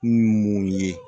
N'u ye mun ye